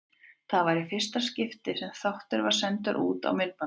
Var það í fyrsta skipti sem þáttur var sendur út á myndbandi.